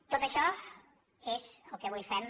tot això és el que avui fem